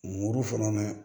Muru fana na